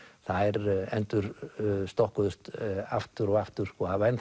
þær endursokkuðust aftur og aftur og hafa